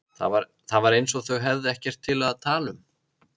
Það var eins og þau hefðu ekkert til að tala um.